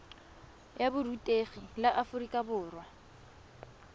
ya borutegi la aforika borwa